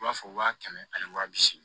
I b'a fɔ waa kɛmɛ ani waa bi seegin